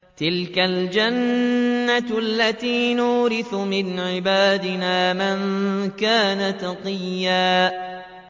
تِلْكَ الْجَنَّةُ الَّتِي نُورِثُ مِنْ عِبَادِنَا مَن كَانَ تَقِيًّا